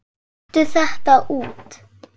Taktu þetta út